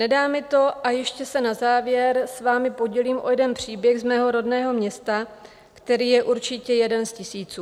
Nedá mi to a ještě se na závěr s vámi podělím o jeden příběh z mého rodného města, který je určitě jeden z tisíců.